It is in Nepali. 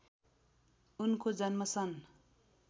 उनको जन्म सन्